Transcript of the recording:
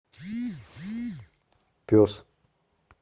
пес